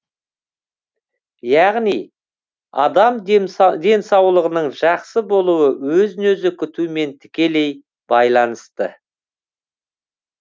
яғни адам денсаулығының жақсы болуы өзін өзі күтуімен тікелей байланысты